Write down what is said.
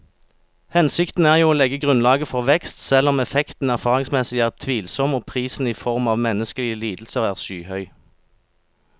Hensikten er jo å legge grunnlaget for vekst, selv om effekten erfaringsmessig er tvilsom og prisen i form av menneskelige lidelser er skyhøy.